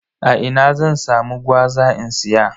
A ina zan samu gwaza in siya?